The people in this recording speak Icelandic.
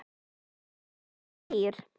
Þeir voru þrír.